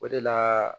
O de la